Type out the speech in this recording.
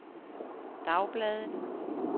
dagbladet